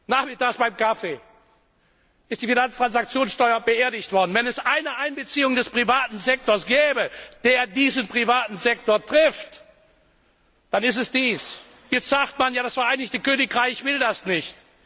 Nachmittags beim Kaffee ist die Finanztransaktionssteuer beerdigt worden. Wenn es eine Einbeziehung des privaten Sektors gäbe, der diesen privaten Sektor trifft, dann ist es dies. Jetzt sagt man Das Vereinigte Königreich will das